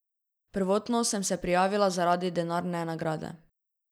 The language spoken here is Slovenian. Prvotno sem se prijavila zaradi denarne nagrade.